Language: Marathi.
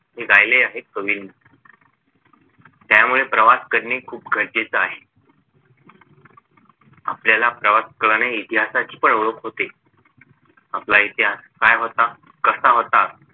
हे गायले आहे कवीने त्यामुळे प्रवास करणे खूप गरजेचं आहे आपल्याला प्रवासाने इतिहासाची पण ओळख होते आपला इतिहास काय होता कसा होता